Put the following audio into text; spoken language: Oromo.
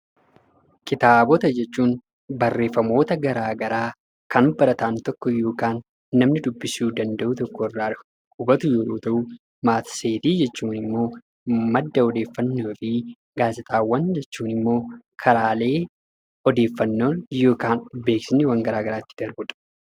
Kitaabota jechuun barreeffamoota garaagaraa kan barataan tokko yookaan namni dubbisuu danda'u tokko irraa hubatu yeroo ta'u, matseetii jechuun immoo madda odeeffannoo fi gaazexaawwan jechuun immoo karaalee odeeffannoon yookaan beeksisni garaagaraa ittiin darbuu dha.